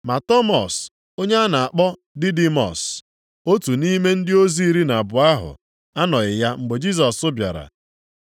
Ma Tọmọs (onye a na-akpọ Didimọs), otu nʼime ndị ozi iri na abụọ ahụ, anọghị ya mgbe Jisọs bịara.